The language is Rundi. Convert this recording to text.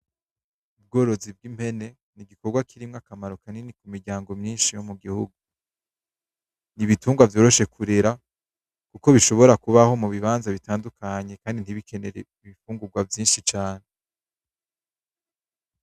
Ubworozi bw'impene ni igikorwa kiri n'akamaro kanini ku miryango myinshi yo mu gihugu. Ni ibitugwa vyoroshe kurera kuko bishobora kubaho mu bibanza bitandukanye kandi ntibikenere ibifungurwa vyinshi cane.